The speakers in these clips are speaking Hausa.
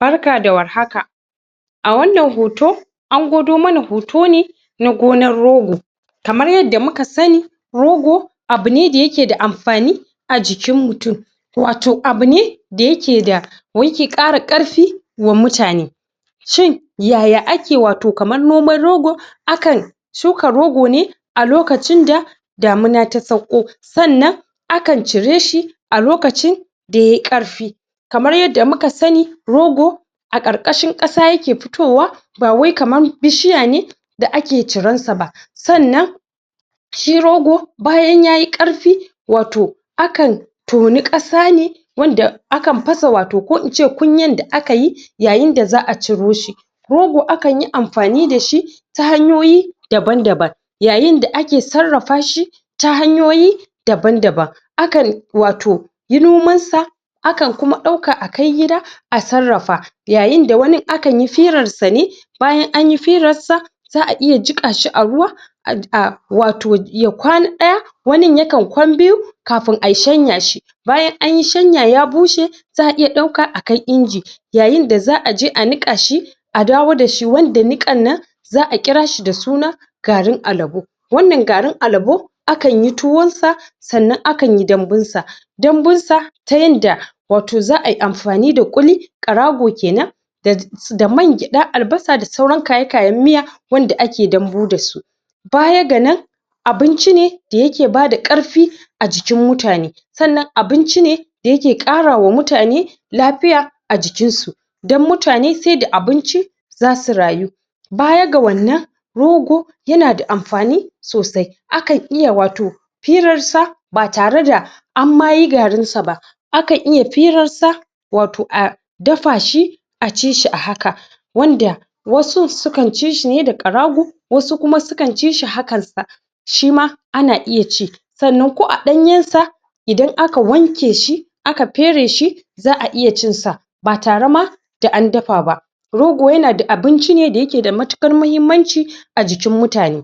Barka da war haka a wannan hoto an gwado mana hoto ne na gonar rogo kamar yadda muka sani rogo abune da yake da amfani a jikin mutun wato abune da yake da yake kara ƙarfi wa mutane shin yaya ake wato kaman noman rogo akan shuka rogo ne a lokacin da damuna ta sauko sannan akan cire shi a lokacin da yayi ƙarfi kamar yadda muka sani rogo a ƙarkashin kasa yake fitowa ba wai kaman bishiya ne da ake ciran sa ba sannan shi rogo bayan yayi ƙarfi wato akan tonu kasa ne wanda akan fasa wato ko ince kunyen da akayi yayin da za'a ciro shi rogo akanyi amfani da shi ta hanyoyi daban daban yayin da ake sarrafa shi ta hanyoyi daban daban akan wato yi noman sa akan kuma dauka a kai gida a sarrafa yayin da wani akan yi firar sa ne in anyi firar sa za'a iya jika shi a ruwa um wato ya ƙwana ɗaya wani ya kan ƙwan biyu kafun a shanya shi bayan anyi shanya ya bushe za'a iya dauka akai inji yayin da za'a je a niƙa shi a dawo da shi wanda niƙan nan za'a kirashi da suna garin alebo wannan garin alebo akanyi tuwon sa sannan akanyi dambun sa dambun sa ta yanda wato za'ayi amfani da kuli ƙarago kenan da man-geda albasa da sauran kayayayen miya wanda ake dambu da su baya ga nan abinci ne da yake bada ƙarfi a jikin mutane sannan abinci ne da yake ƙarawa mutane lafiya a jikin su dan mutane sai da abinci zasu rayu baya ga wannan rogo yana da amfani sosai akan iya wato firar sa ba tare da an ma yi garin sa ba akan iya firar sa wato a dafa shi a ci shi a haka wanda wasu su kan ci shi ne da ƙarago wasu su kan ci shi hakan sak shima ana iya ci sannan ko a ɗanyen sa in aka wanke shi aka pere shi za'a iya cin sa ba tare ma da an dafa ba rogoyana da abinci da yake da matuƙar mahimmanci a jikin mutane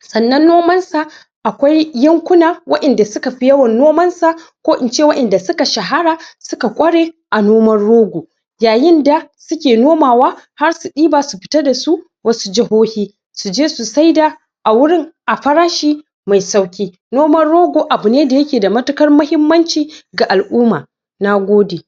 sannan noman sa akwai yankuna wa'en da suka fi yawan noman sa ko ince wa'en da suka shahara suka ƙware a noman rogo yayin da suke nomawa har su ɗiba su fita da su wasu jahohi suje su saida a wurin a farashi mai sauki noman rogo abune da yake da matuƙar mahimmanci ga al'umma nagode.